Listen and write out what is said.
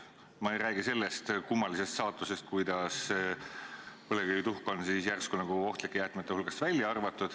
Ma ei räägi sellest kummalisest saatusest, kuidas põlevkivituhk on järsku nagu ohtlike jäätmete hulgast välja arvatud.